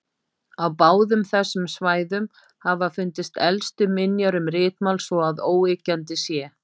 Á báðum þessum svæðum hafa fundist elstu minjar um ritmál svo að óyggjandi sé.